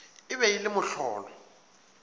e be e le mohlolo